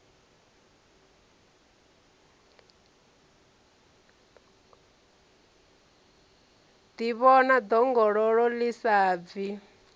ḓivhona ḓongololo ḽi sa bvi